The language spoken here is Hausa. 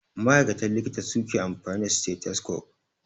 Ma'aikatan likita suke amfani da stethoscope.